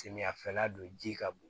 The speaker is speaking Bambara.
Samiyɛ fɛla don ji ka bon